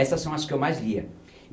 Essas são as que eu mais lia.